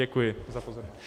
Děkuji za pozornost.